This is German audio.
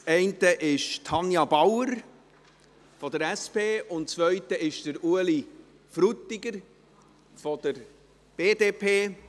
Geburtstag haben Tanja Bauer von der SP und Ueli Frutiger von der BDP.